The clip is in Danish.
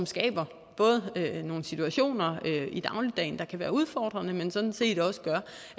skaber nogle situationer i dagligdagen der kan være udfordrende men sådan set også gør